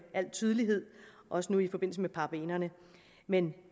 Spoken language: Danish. al tydelighed også nu i forbindelse med parabenerne men